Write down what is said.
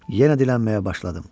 Yenə dilənməyə başladım.